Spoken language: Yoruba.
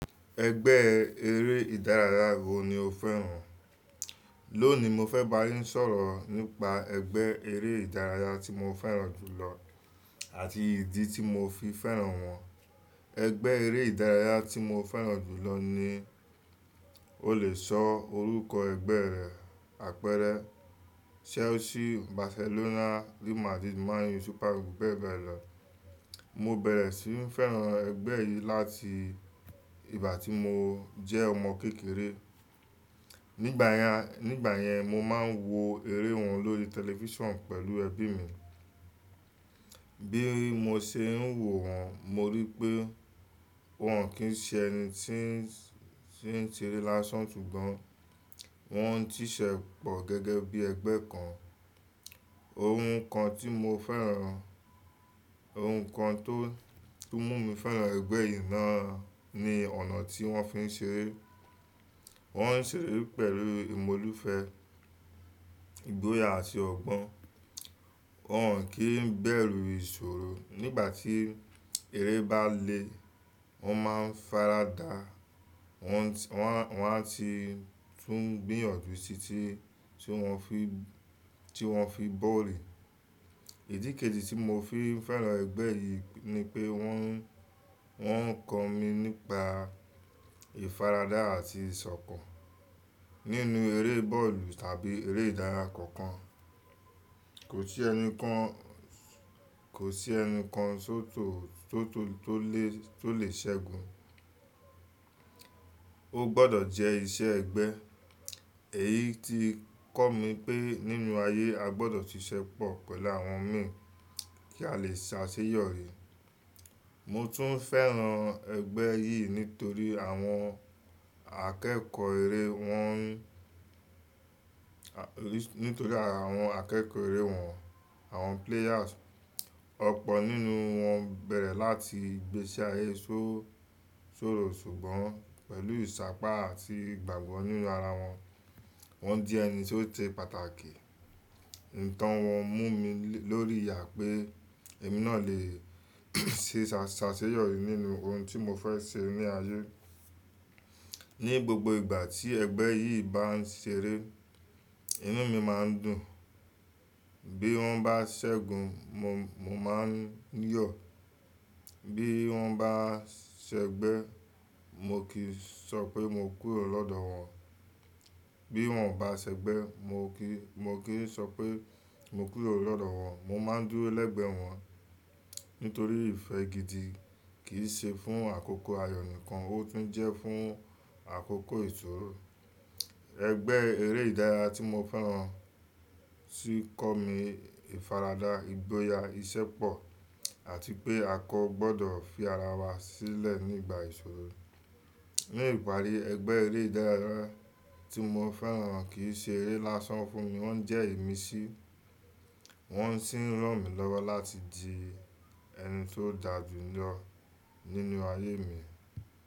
Ẹgbẹ́ eré ìdárayá wo ni o fẹ́ràn? Lónìí, mo fẹ́ bá yín sọ̀rọ̀ nípa ẹgbẹ́ eré ìdárayá tí mo fẹ́ràn jù lọ àti ìdí tí mo fi fẹ́ràn wọn. Ẹgbẹ́ eré ìdárayá tí mo fẹ́ràn jù lọ ni, o le sọ orúkọ ẹgbẹ́ rẹ̀, àpẹẹrẹ Chelsea, Barcelona, Real Madrid, Man United, Super Eagles bẹ́ẹ̀ bẹ́ẹ̀ lọ. Mo bẹ̀rẹ̀ sí ní fẹ́ràn ẹgbẹ́ yìí láti ìgbà tí mo jẹ́ ọmọ kékeré. Nígbàyẹn, Nígbà yẹn, mo máa ń wo eré wọn lórí tẹlifíṣàn pẹ̀lú ẹbí mi. Bí mo ṣe ń wò wọ́n, mo rí pé wọ́n kì í ṣe ẹni tí ń, tí ń ṣeré lásán, ṣùgbọ́n wọ́n ń ṣíṣẹ́pọ̀ gẹ́gẹ́ bí ẹgbẹ́ kan. Ohun kan tí mo fẹ́ràn, ohun kan tó, tó mú mi fẹ́ràn ẹgbẹ́ yìí náà ni ọ̀nà tí wọ́n fi ń ṣeré. Wọ́n ń ṣeré pẹ̀lú ìmọlúfe, ìgboyà àti ọgbọ́n. Wọn kì í bẹ̀rù ìṣòro. Nígbà tí eré bá le, wọ́n máa ń faradà. Wọn, wọn, wọn á ti tún gbìyànjú tí ti, tí wọ́n fi, tí wọ́n fi bóóri. Ìdí keji tí mo fi ń fẹ́ràn ẹgbẹ́ yìí ni pé wọ́n, wọ́n ń kọ́ mi nípa ìfaradà àti ìsọ̀kan. Nínú eré bọ́ọ̀lù tàbí eré ìdárayá kankan, kò sí ẹni kan, kò sí ẹni kan tó tò, tó tò, tó le, tó lè ṣẹ́gun. Ó gbọdọ̀ jẹ́ iṣẹ́ ẹgbẹ́. Èyí ti ń kọ́ mi pé nínú ayé, a gbọdọ̀ ṣisẹ́pọ̀ pẹ̀lú àwọn mìíràn kí a lè ṣàṣeyọ̀rí. Mo tún fẹ́ràn ẹgbẹ́ yìí nítorí àwọn akẹ́kọ̀ọ́ eré wọn, nítorí àwọn akẹ́kọ̀ọ́ eré wọn, àwọn players, ọ̀pọ̀ nínú wọn bẹ̀rẹ̀ láti gbé sí ayé ṣó-- ṣòro ṣùgbọ́n pẹ̀lú ìṣápá àti ìgbàgbọ́ nínú ara wọn, wọ́n jẹ́ ẹni tí ó ṣe pàtàkì. Ní tán wọn mú mi lórí ìyà pé èmi náà lè ṣe ṣàṣeyọ̀rí nínú ohun tí mo fẹ́ ṣe ní ayé. Ní gbogbo ìgbà tí ẹgbẹ́ yìí bá ń ṣeré, inú mi má ń dùn. Bí wọ́n bá ṣẹ́gun, mo, mo máa ń yọ̀. Bí wọ́n bá ṣẹgbẹ́, mo kì í sọ pé mo kúrò lọ́dọ̀ wọn. Bí wọ́n ò bá ṣẹgbẹ́, mo kì í, mo kì í sọ pé mo kúrò lọ́dọ̀ wọn. Mo má ń dúró lẹ́gbẹ̀ẹ́ wọn nítorí ìfẹ́ gidi kì í ṣe fún àkókò ayọ̀ nìkan, ó tún jẹ́ fún àkókò ìṣòro. Ẹgbẹ́ eré ìdárayá tí mo fẹ́ràn tí kọ́ mi ìfaradà, ìgboyà, ìṣépọ̀ àti pé a kò gbọdọ̀ fi ara wa sílẹ̀ nígbà ìṣòro. Ní ìparí, ẹgbẹ́ eré ìdárayá tí mo fẹ́ràn kì í ṣe eré lásán fún mi, wọ́n jẹ́ ìmísí, wọ́n sì ń ràn mí lọ́wọ́ láti di ẹni tó dàjù lọ nínú ayé mi.